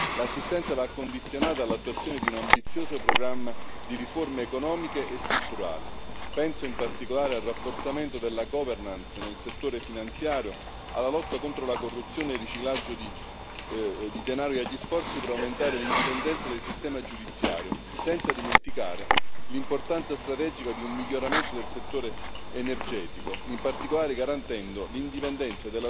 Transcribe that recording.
L'assistenza va condizionata all'attuazione di un ambizioso programma di riforme economiche e strutturali penso in particolare al rafforzamento della governance nel settore finanziario, alla lotta contro la corruzione e il riciclaggio di denaro e agli sforzi per aumentare l'indipendenza del sistema giudiziario, senza dimenticare l'importanza strategica di un miglioramento del settore energetico, in particolare garantendo l'indipendenza